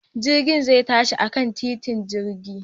Jirgin zai tashi akan titin jirgin